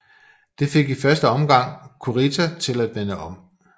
Det fik i første omgang Kurita til at vende om